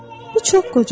Bu çox qocadır.